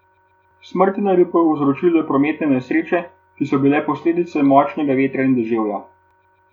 Smrti naj bi povzročile prometne nesreče, ki so bile posledica močnega vetra in dežja.